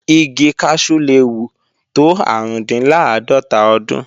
Igi kaṣú le wù tó árùndinláàdọ́tà ọdún